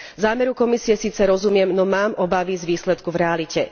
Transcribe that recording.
Zámeru Komisie síce rozumiem, no mám obavy z výsledku v realite.